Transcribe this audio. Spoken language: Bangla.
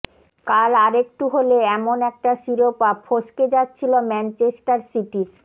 কাল আরেকটু হলে এমন একটা শিরোপা ফসকে যাচ্ছিল ম্যানচেস্টার সিটির